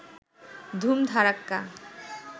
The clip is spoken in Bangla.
ধুম ধাড়াক্কা